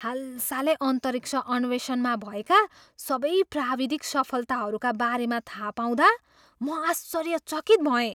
हालसालै अन्तरिक्ष अन्वेषणमा भएका सबै प्राविधिक सफलताहरूका बारेमा थाहा पाउँदा म आश्चर्यचकित भएँ।